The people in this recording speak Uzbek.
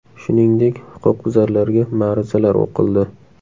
Shuningdek, huquqbuzarlarga ma’ruzalar o‘qildi.